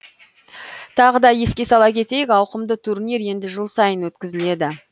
тағы да еске сала кетейік ауқымды турнир енді жыл сайын өткізіледі